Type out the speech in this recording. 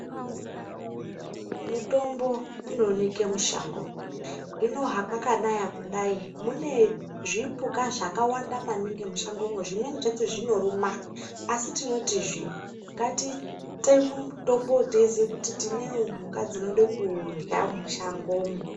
Mutombo unooneke mushando hino hakwakanaya kudai munezvipuka zvakawanda maningi mushangomwo zvimweni zvacho zvinoruma asi tinotizve ngatiteme mitombowo teiziye kuti tinewo mhuka dzinoda kuurya mushangomo.